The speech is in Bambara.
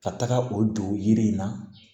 Ka taga o don yiri in na